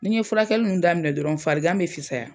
Nin ye furakɛli ninnu daminɛ dɔrɔn farigan bɛ fisaya.